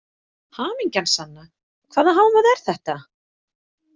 Hamingjan sanna, hvaða hávaði er þetta?